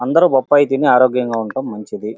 అందరూ బొప్పాయి తిని ఆరోగ్యంగా ఉండటం మంచిది.